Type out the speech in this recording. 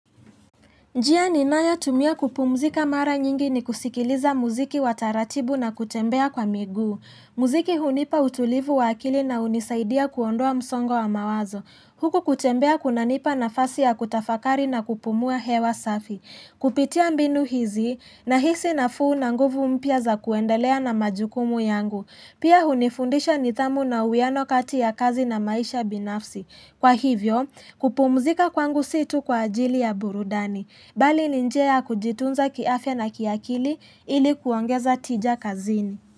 Njia ninayo tumia kupumzika mara nyingi ni kusikiliza muziki wataratibu na kutembea kwa miguu. Muziki hunipa utulivu wa akili na hunisaidia kuondoa msongo wa mawazo. Huku kutembea kunanipa nafasi ya kutafakari na kupumua hewa safi. Kupitia mbinu hizi nahisi nafuu na nguvu mpya za kuendelea na majukumu yangu. Pia hunifundisha nithamu na uiano kati ya kazi na maisha binafsi. Kwa hivyo, kupumzika kwangu situ kwa ajili ya burudani. Bali ni njia kujitunza kiafya na kiakili ilikuongeza tija kazini.